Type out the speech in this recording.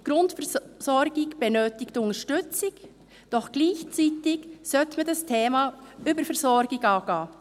Die Grundversorgung braucht Unterstützung, doch gleichzeitig sollte man das Thema Überversorgung angehen.